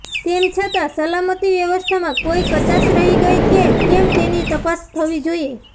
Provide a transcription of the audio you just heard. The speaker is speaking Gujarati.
તેમ છતાં સલામતી વ્યવસ્થામાં કોઇ કચાશ રહી ગઇ કે કેમ તેની તપાસ થવી જોઇએ